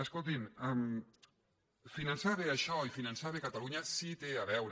escoltin finançar bé això i finançar bé catalunya sí que té a veure